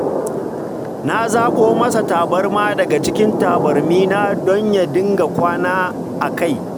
Na zaɓo masa tabarma daga cikin tabarmina don ya dinga kwana a kai